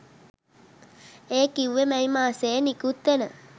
ඒ කිව්වේ මැයි මාසයේ නිකුත්වෙන